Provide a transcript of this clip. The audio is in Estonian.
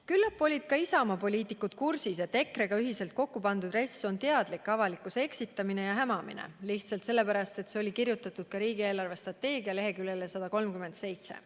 " Küllap olid ka Isamaa poliitikud kursis, et EKRE-ga ühiselt kokku pandud RES on teadlik avalikkuse eksitamine ja hämamine, lihtsalt sellepärast, et see oli kirjutatud ka riigi eelarvestrateegia leheküljele 137.